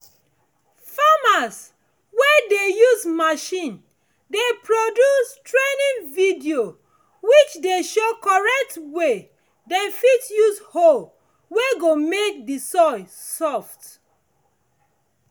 farmers wey dey use machine dey produce training videos which dey show correct way dem fit use hoe wey go make the soil soft